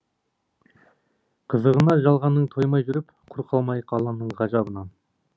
қызығына жалғанның тоймай жүріп құр қалмайық алланың ғажабынан